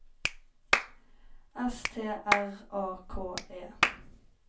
S T R A K E